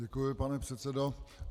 Děkuji, pane předsedo.